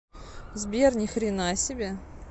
сбер ни хрена себе